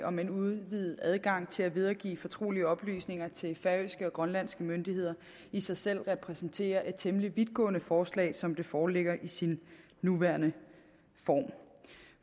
om en udvidet adgang til at videregive fortrolige oplysninger til færøske og grønlandske myndigheder i sig selv repræsenterer et temmelig vidtgående forslag som det foreligger i sin nuværende form